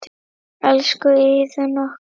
Elsku Iðunn okkar.